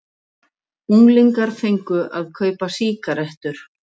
Unglingar fengu að kaupa sígarettur